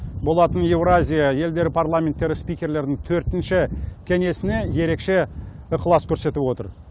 болатын еуразия елдері парламенттері спикерлерінің төртінші кеңесіне ерекше ықылас көрсетіп отыр